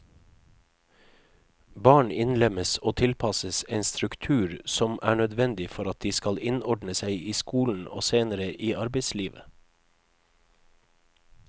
Barn innlemmes og tilpasses en struktur som er nødvendig for at de skal innordne seg i skolen og senere i arbeidslivet.